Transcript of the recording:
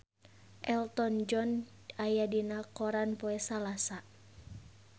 Elton John aya dina koran poe Salasa